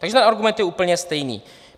Takže ten argument je úplně stejný.